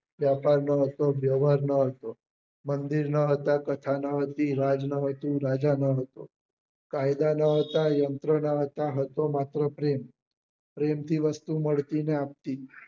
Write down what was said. વેપાર ના હતો વેવાર નાં હતો મંદિર નાં નતું કથા ના હોતી રાજ નાં હતું રાજા નાં હતા કાયદા નાં હતા યંત્રો ના હતા હતો માત્ર પ્રેમ પ્રેમથી વસ્તુ મળતી ને આપતી